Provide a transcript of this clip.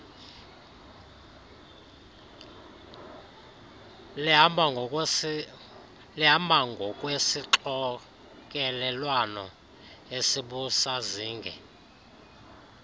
lihamba ngokwesixokelelwano esibusazinge